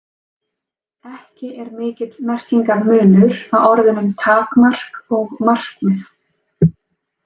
Ekki er mikill merkingarmunur á orðunum takmark og markmið.